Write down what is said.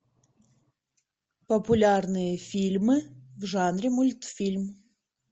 популярные фильмы в жанре мультфильм